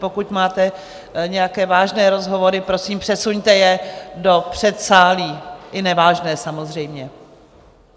Pokud máte nějaké vážné rozhovory, prosím, přesuňte je do předsálí - i nevážné, samozřejmě.